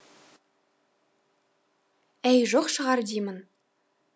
әй жоқ шығар деймін